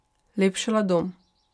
Lepšala dom.